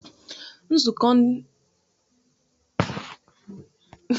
Nzukọ ndị nwoke na-azụ ahịa azụmaahịa ga-eme n'izu na-abịa.